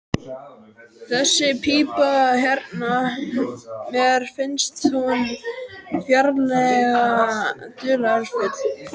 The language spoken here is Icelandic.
Þessi pípa hérna. mér finnst hún ferlega dularfull.